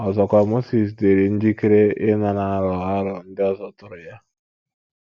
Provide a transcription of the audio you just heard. Ọzọkwa, Mozis dịrị njikere ịnara aro aro ndị ọzọ tụụrụ ya.